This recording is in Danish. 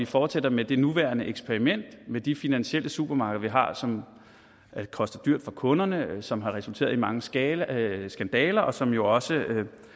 fortsætter med det nuværende eksperiment med de finansielle supermarkeder man har som koster dyrt for kunderne som har resulteret i mange skandaler skandaler og som jo også